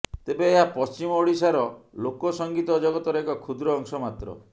ତେବେ ଏହା ପଶ୍ଚିମ ଓଡ଼ିଶାର ଲୋକ ସଙ୍ଗୀତ ଜଗତର ଏକ କ୍ଷୁଦ୍ର ଅଂଶ ମାତ୍ର